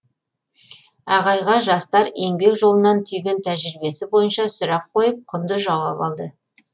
ағайға жастар еңбек жолынан түйген тәжірибесі бойынша сұрақ қойып құнды жауап алды